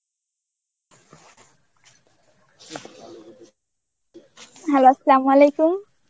hello Arbi